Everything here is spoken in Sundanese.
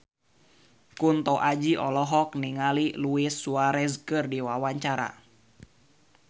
Kunto Aji olohok ningali Luis Suarez keur diwawancara